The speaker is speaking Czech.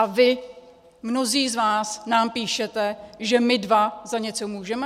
A vy, mnozí z vás, nám píšete, že my dva za něco můžeme?